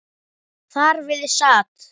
Þar við sat.